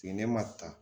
Fini ma ta